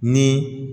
Ni